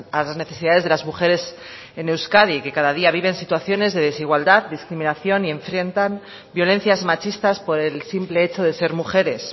a las necesidades de las mujeres en euskadi que cada día viven situaciones de desigualdad discriminación y enfrentan violencias machistas por el simple hecho de ser mujeres